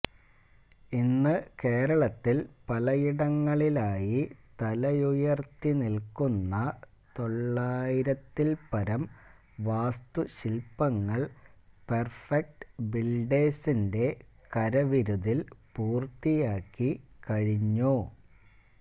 ഇന്ന് കേരളത്തില് പലയിടങ്ങളിലായി തലയുയര്ത്തി നില്ക്കുന്ന തൊള്ളായിരത്തില്പരം വാസ്തുശില്പങ്ങള് പെര്ഫെക്റ്റ് ബില്ഡേഴ്സിന്റെ കരവിരുതില് പൂര്ത്തിയാക്കി കഴിഞ്ഞു